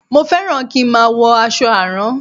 Mo fẹ́ràn kí n má a wọ aṣọ àrán